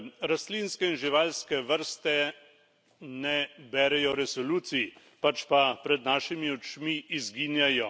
Rastlinske in živalske vrste ne berejo resolucij, pač pa pred našimi očmi izginjajo.